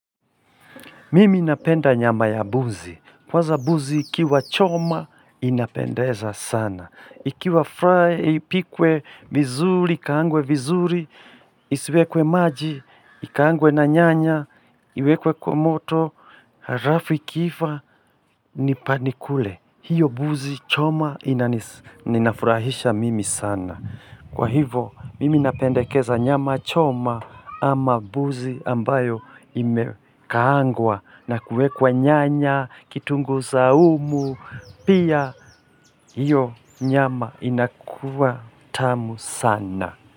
Mimi napenda nyama ya buzi. Kwanza buzi ikiwa choma inapendeza sana. Ikiwa fry, ipikwe vizuri, ikaangwe vizuri, isiwekwe maji, ikangwe na nyanya, iwekwe kwa moto, harafu ikiiva, nipa nikule. Hiyo buzi choma inafurahisha mimi sana. Kwa hivo, mimi napendekeza nyama choma ama buzi ambayo imekaangwa na kuwekwa nyanya, kitungu saumu, pia hiyo nyama inakua tamu sana.